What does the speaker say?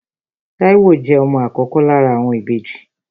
Táíwò jẹ́ ọmọ àkọ́kọ́ lára àwọn ìbejì